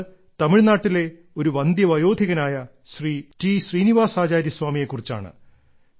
അത് തമിഴ്നാട്ടിലെ ഒരു വന്ദ്യവയോധികനായ ശ്രീ ടി ശ്രീനീവാസാചാര്യ സ്വാമിയെക്കുറിച്ചാണ്